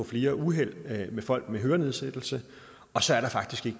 flere uheld med folk med hørenedsættelse og så er der faktisk